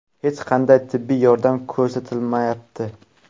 Hech qanday tibbiy yordam ko‘rsatilmayapti.